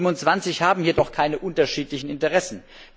Die 27 haben jedoch keine unterschiedlichen Interessen.